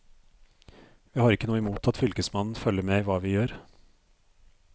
Vi har ikke noe imot at fylkesmannen følger med i hva vi gjør.